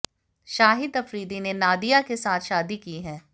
शाहिद अफरीदी ने नादिया के साथ शादी की है